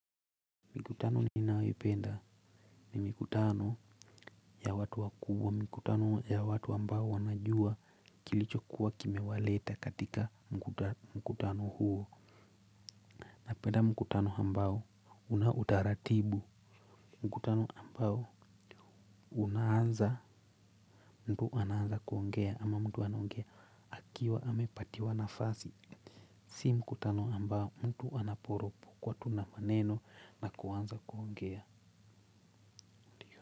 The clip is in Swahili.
Mikutano ninaipenda ni mikutano ya watu wakubwa mkutano ya watu ambao wanajua kilichokuwa kimewaleta katika mkutano huo. Napenda mkutano ambao una utaratibu mkutano ambao unaanza mtu anaanza kuongea ama mtu anaongea akiwa amepatiwa nafasi. Si mkutano ambao mtu anaporopokwa tu na maneno na kuanza kuongea.